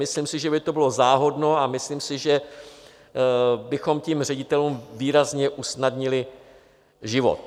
Myslím si, že by to bylo záhodno, a myslím si, že bychom tím ředitelům výrazně usnadnili život.